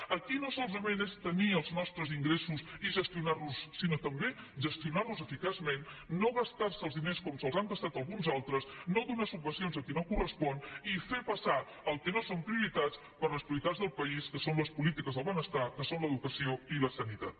aquí no solament és tenir els nostres ingressos i gestionar los sinó també gestionar los eficaçment no gastar se els diners com se’ls han gastat alguns altres no donar subvencions a qui no correspon i fer passar el que no són prioritats per les prioritats del país que són polítiques del benestar que són l’educació i la sanitat